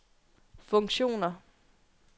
funktioner